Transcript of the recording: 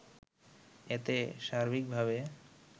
এতে সার্বিকভাবে